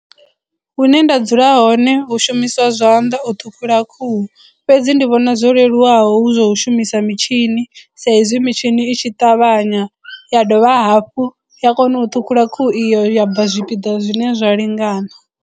Hune nda dzula hone hu shumiswa zwanḓa u ṱhukhula khuhu fhedzi ndi vhona zwo leluwaho hu zwa u shumisa mitshini sa izwi mitshini itshi ṱavhanya ya dovha hafhu ya kona u ṱhukhula khuhu iyo ya bva zwipiḓa zwine zwa lingana.